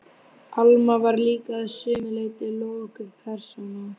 Alma var líka að sumu leyti lokuð persóna.